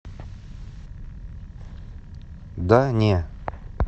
да не